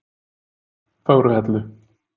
Fögruhellu